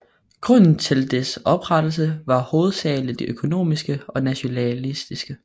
Grundene til dets oprettelse var hovedsagelig økonomiske og nationalistiske